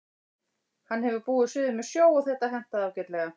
Hann hefur búið suður með sjó og þetta hentaði ágætlega.